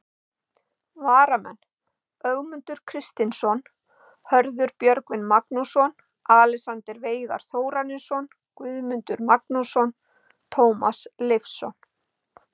Varamenn: Ögmundur Kristinsson, Hörður Björgvin Magnússon, Alexander Veigar Þórarinsson, Guðmundur Magnússon, Tómas Leifsson.